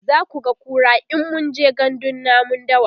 zakuga kura in mun je gandun namun dawa